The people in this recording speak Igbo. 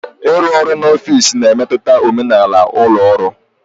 Ịrụ ọrụ n'ọfịs na-emetụta omenala ụlọ ọrụ